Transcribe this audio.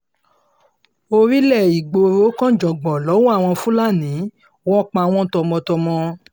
orílẹ̀ ìgboro kànjàngbọ̀n lọ́wọ́ àwọn fúlàní wọ́n pa wọ́n tọmọtọmọ